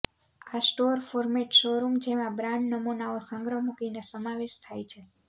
આ store format showroom જેમાં brand નમૂનાઓ સંગ્રહ મૂકીને સમાવેશ થાય છે